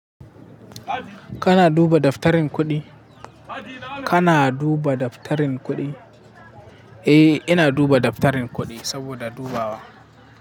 Kana duba daftarin kuɗi? Kana duba daftarin kudi, eh, ina duba daftarin kudi saboda dubawa.